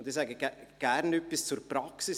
Ich sage gerne etwas zur Praxis.